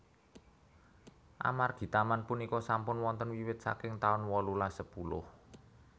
Amargi taman punika sampun wonten wiwit saking taun wolulas sepuluh